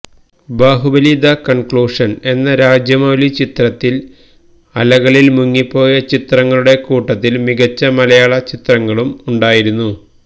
Baahubali the conclusion എന്ന രാജമൌലി ചിത്രത്തില് അലകളില് മുങ്ങിപ്പോയ ചിത്രങ്ങളുടെ കൂട്ടത്തില് മികച്ച മലയാള ചിത്രങ്ങളും ഉണ്ടായിരുന്നു